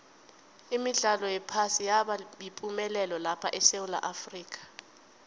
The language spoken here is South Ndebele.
imidlalo yephasi yaba yipumelelo lapha esewula afrika